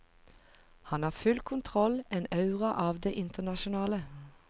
Han har full kontroll, en aura av det internasjonale.